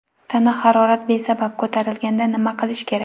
Tana harorat besabab ko‘tarilganda nima qilish kerak?